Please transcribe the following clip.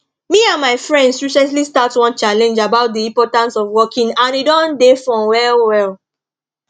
me and my friends recently start one challenge about the importance of walking and e don dey fun well well